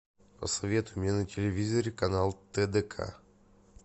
посоветуй мне на телевизоре канал тдк